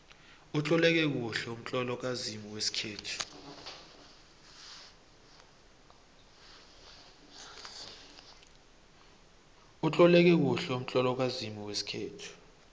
utloleke kuhle umtlolo kazimu wesikhethu